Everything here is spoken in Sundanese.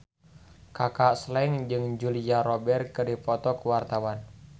Kaka Slank jeung Julia Robert keur dipoto ku wartawan